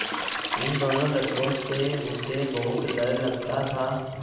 इन दोनों लड़कों से उसे बहुत डर लगता था